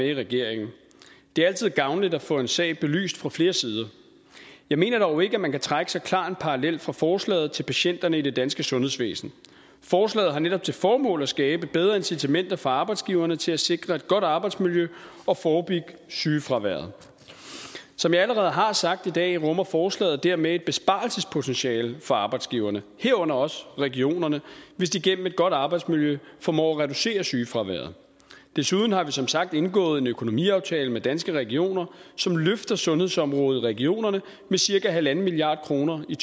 i regeringen det er altid gavnligt at få en sag belyst fra flere sider jeg mener dog ikke at man kan trække så klar en parallel fra forslaget til patienterne i det danske sundhedsvæsen forslaget har netop til formål at skabe bedre incitamenter for arbejdsgiverne til at sikre et godt arbejdsmiljø og forebygge sygefraværet som jeg allerede har sagt i dag rummer forslaget dermed et besparelsespotentiale for arbejdsgiverne herunder også regionerne hvis de igennem et godt arbejdsmiljø formår at reducere sygefraværet desuden har vi som sagt indgået en økonomiaftale med danske regioner som løfter sundhedsområdet i regionerne med cirka en en halv milliard kroner i